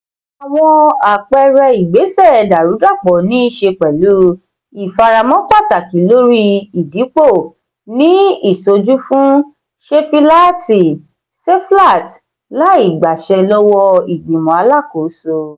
àwọn àpẹẹrẹ ìgbésẹ dàrúdàpọ̀ niiṣe pẹ̀lú ìfaramọ́ pàtàkì lórí ìdìpọ̀ ní ìsojúfún sefilaati seflat láì gbàsẹ lọ́wọ́ọ ìgbìmò alákòóso.